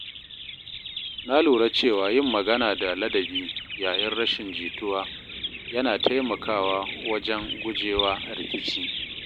Na lura cewa yin magana da ladabi yayin rashin jituwa yana taimakawa wajen guje wa rikici.